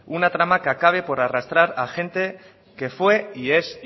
una trama que acabe por arrastrar a gente que fue y es